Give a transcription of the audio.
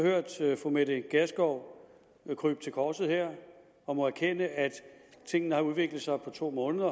hørt fru mette gjerskov krybe til korset her og erkende at tingene har udviklet sig på to måneder